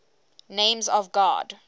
names of god